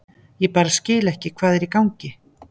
Ég bara skil ekki hvað er í gangi.